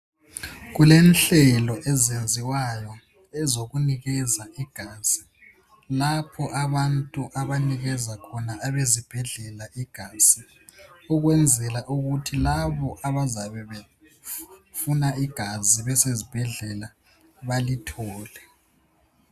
Kulenhlelo ezenziwayo ezokunikeza igazi lapho abantu abanikeza khona abezibhedlela igazi ukwenzela ukuthi labo abazabe befuna igazi besezibhedlela balithole.